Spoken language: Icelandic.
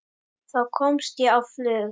Þá komst ég á flug.